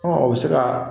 o bɛ se ka